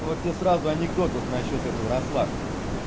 вот тебе сразу анекдот вот насчёт этого расслабься